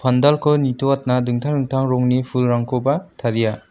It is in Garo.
pandalko nitoatna dingtang dingtang rongni fulrangkoba taria.